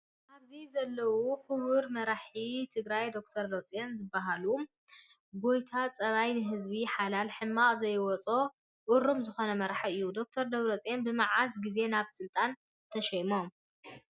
ኣብዚ ዘለው ክቡር መራሒ ትግራይ ደ/ር ደብረፅዮን ዝበሃሉ ጎታ ፀባይ ንህዝቢ ሓላይ ሕማቅ ዘይወፆ እሩም ዝኮነ መራሒ እዩ። ዶ/ር ደብረፅዮን ብመዓስ ግዜ ናብ ስልጣን ተሸይሞም ?